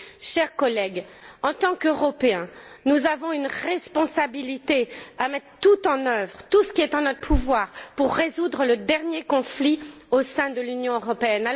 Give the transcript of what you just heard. Chers collègues, en tant qu'Européens, nous avons une responsabilité à mettre tout en œuvre, à faire tout ce qui est en notre pouvoir pour résoudre le dernier conflit au sein de l'Union européenne.